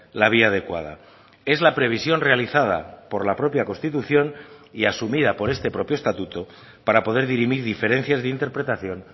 la vía adecuada es la previsión realizada por la propia constitución y asumida por este propio estatuto para poder dirimir diferencias de interpretación